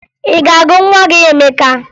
Ị ga-agụ nwa gị Emeka?